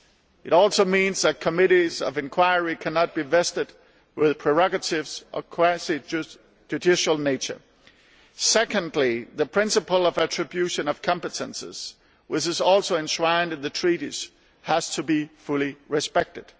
It also means that committees of inquiry cannot be vested with prerogatives of a quasi judicial nature. Secondly, the principle of attribution of competences, which is also enshrined in the Treaties, has to be fully respected.